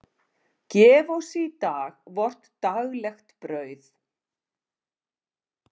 Gef oss í dag vort daglegt brauð.